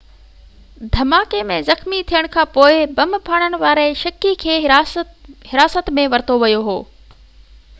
دهماڪي ۾ زخمي ٿيڻ کانپوءِ بم ڦاڙڻ واري شڪي کي حراست ۾ ورتو ويو هو